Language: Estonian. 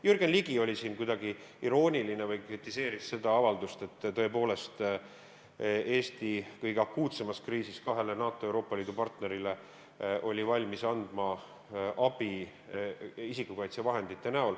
Jürgen Ligi oli siin kuidagi irooniline või kritiseeris seda avaldust, et Eesti oli kõige akuutsemas kriisis tõepoolest valmis andma NATO ja Euroopa Liidu partnerile abi isikukaitsevahendite näol.